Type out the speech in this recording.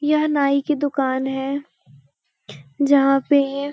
यह नाई की दुकान है जहाँ पे --